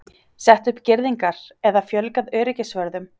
Sett upp girðingar eða fjölgað öryggisvörðum?